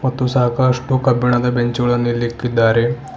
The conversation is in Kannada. ಮತ್ತು ಸಾಕಷ್ಟು ಕಬ್ಬಿಣದ ಬೆಂಚ್ ಗಳನ್ನು ಇಲ್ಲಿ ಇಕ್ಕಿದ್ದಾರೆ.